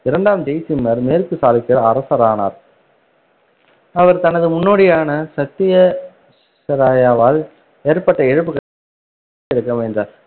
இரண்டாம் ஜெய்சிம்மர் மேற்கு சாளுக்கியர் அரசரானார் அவர் தனது முன்னோடியான சத்ய~ ஷரயாவால் ஏற்பட்ட இழப்புகளை மீட்டெடுக்க முயன்றார்,